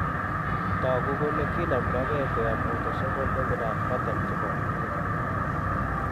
Togu kole kindomdoge koyop autosomal dominant pattern chepo inheritance.